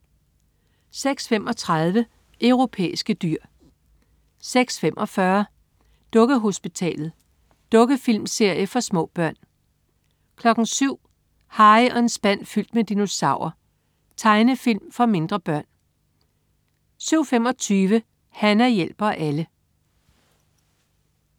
06.35 Europæiske dyr 06.45 Dukkehospitalet. Dukkefilmserie for små børn 07.00 Harry og en spand fyldt med dinosaurer. Tegnefilm for mindre børn 07.25 Hana hjælper alle